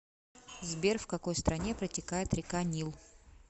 сбер в какой стране протекает река нил